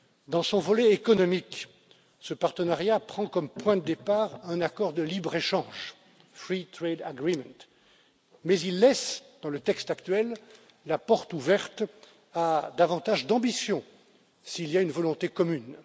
Dans son volet économique, ce partenariat prend comme point de départ un accord de libre échange mais il laisse dans le texte actuel la porte ouverte à davantage d'ambition s'il y a une volonté commune.